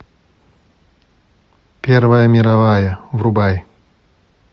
первая мировая врубай